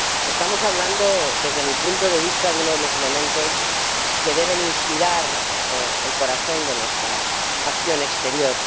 Estamos hablando, desde mi punto de vista, de uno de los elementos que deben inspirar el corazón de nuestra acción exterior.